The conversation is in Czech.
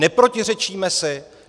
Neprotiřečíme si?